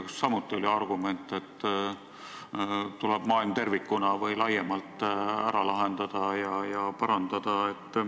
Seal oli samuti argument, et tuleb maailm tervikuna või laiemalt ära lahendada ja parandada.